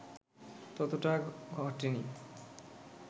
ততটা ঘটেনি